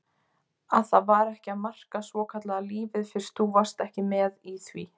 Að það var ekki að marka svokallaða lífið fyrst þú varst ekki með í því.